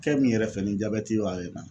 Fɛn min yɛrɛ fɛ ni jabɛti wala ye n na